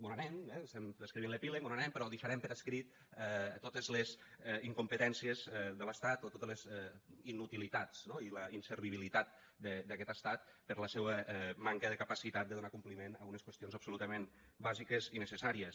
mos n’anem eh estem escrivint l’epíleg mos n’anem però deixarem per escrit totes les incompetències de l’estat o totes les inutilitats no i la inservibilitat d’aquest estat per la seua manca de capacitat de donar compliment a unes qüestions absolutament bàsiques i necessàries